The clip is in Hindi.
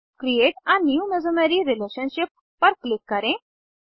क्रिएट आ न्यू मेसोमेरी रिलेशनशिप पर क्लिक करें